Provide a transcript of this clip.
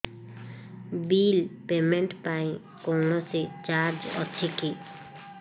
bill payment ପାଇଁ କୌଣସି charge ଅଛି କି